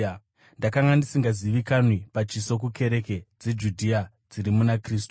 Ndakanga ndisingazivikanwi pachiso kukereke dzeJudhea dziri muna Kristu.